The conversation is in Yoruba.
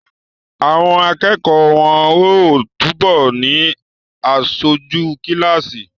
Àwọn akẹ́kọ̀ọ́ wọ́n ó túbọ̀ ni aṣojú kíláàsì